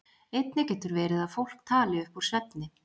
Einnig getur verið að fólk tali upp úr svefni.